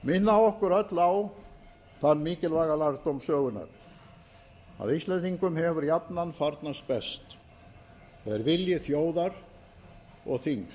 minna okkur öll á þann mikilvæga lærdóm sögunnar að íslendingum hefur jafnan farnast best þegar vilji þjóðar og þings